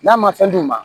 N'a ma fɛn d'u ma